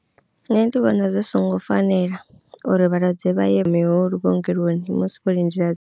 Nṋe ndi vhona zwi songo fanela uri vhalwadze vha ye mihulu vhuongeloni musi vho lindela.